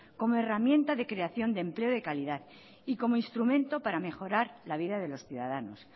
como herramienta de creación de empleo de calidad y como instrumento para mejorar la vida de los ciudadanos